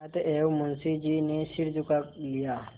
अतएव मुंशी जी ने सिर झुका लिया